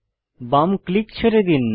বাম ক্লিক ছেড়ে দিন